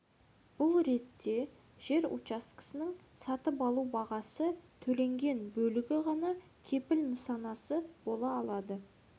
бұл ретте жер учаскесінің сатып алу бағасы төленген бөлігі ғана кепіл нысанасы бола алады